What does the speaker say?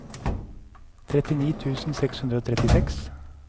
trettini tusen seks hundre og trettiseks